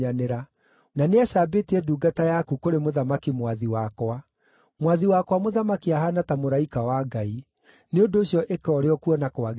Na nĩacambĩtie ndungata yaku kũrĩ mũthamaki mwathi wakwa. Mwathi wakwa mũthamaki ahaana ta mũraika wa Ngai; nĩ ũndũ ũcio ĩka ũrĩa ũkuona kwagĩrĩire.